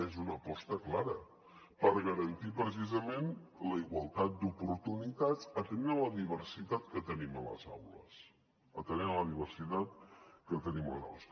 és una aposta clara per garantir precisament la igualtat d’oportunitats atenent a la diversitat que tenim a les aules atenent a la diversitat que tenim a les aules